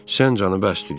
Sən canı bəsdir dedi.